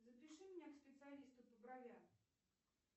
запиши меня к специалисту по бровям